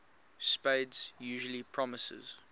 spades usually promises